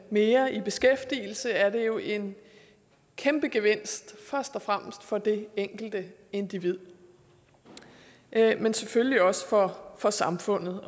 mere i beskæftigelse er det jo en kæmpe gevinst først og fremmest for det enkelte individ men selvfølgelig også for for samfundet